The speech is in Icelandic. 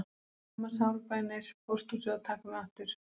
Mamma sárbænir pósthúsið að taka mig aftur